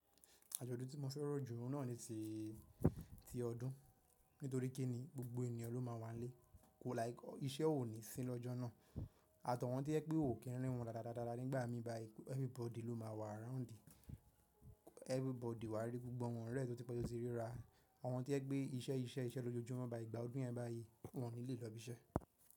Àjọ̀dún tí mo fẹ́ràn jù náà ni ti ọdún, nítorí kí ni gbogbo ènìyàn ló máa wà nílé, ko like iṣẹ́ ò ní sí lọ́jọ́ náà àtàwọn to jẹ pé ò kí n rí wọn dáda dáadáa nígbà mí bá yi everybody ló máa wà around, everybody wà rí gbogbo àwọn ọ̀rẹ́ rẹ tí ó ti pẹ́ to tí rí ra, àwọn to yẹ pé iṣẹ́ iṣẹ́ iṣẹ́ ló jojúmọ́ báyìí ìgbà ọdún yẹn bá yí, wọ́n ní lè lọ ibi iṣẹ́.